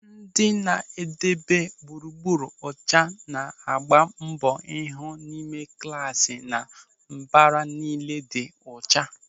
Ndị na-edebe gburugburu ọcha na-agba mbọ ịhụ na ime klasị na mbara niile dị ọcha.